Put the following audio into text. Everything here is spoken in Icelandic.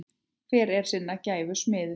Hver er sinnar gæfu smiður